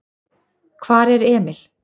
Hvar er Emil?